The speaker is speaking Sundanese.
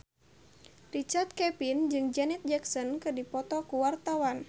Richard Kevin jeung Janet Jackson keur dipoto ku wartawan